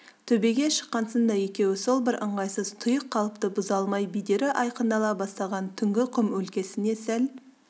төбеге шыққасын да екеуі сол бір ыңғайсыз тұйық қалыпты бұза алмай бедері айқындала бастаған түнгі құм өлкесіне сәл